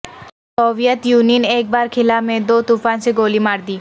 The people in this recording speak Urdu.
سوویت یونین ایک بار خلا میں دو طوفان سے گولی مار دی